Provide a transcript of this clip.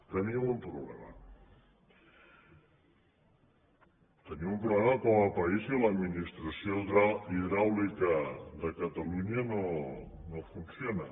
tenim un problema tenim un problema com a país i l’administració hidràulica de catalunya no funciona